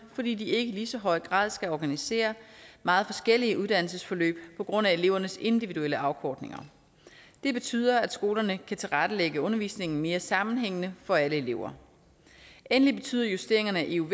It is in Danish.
fordi de ikke i lige så høj grad skal organisere meget forskellige uddannelsesforløb på grund af elevernes individuelle afkortninger det betyder at skolerne kan tilrettelægge undervisningen mere sammenhængende for alle elever endelig betyder justeringerne af euv